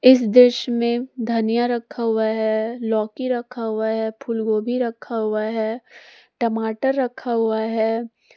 इस दृश्य में धनिया रखा हुआ है लौकी रखा हुआ है फूलगोभी रखा हुआ है टमाटर रखा हुआ है।